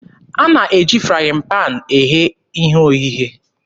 A na-eji frayịn paanị eghe ihe oghighe.